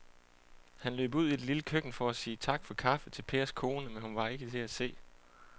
Han løb ud i det lille køkken for at sige tak for kaffe til Pers kone, men hun var ikke til at se.